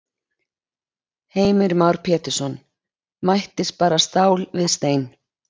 Heimir Már Pétursson: Mættist bara stál við stein?